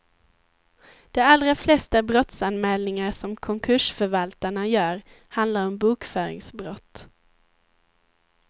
De allra flesta brottsanälningar som konkursförvaltarna gör handlar om bokföringsbrott.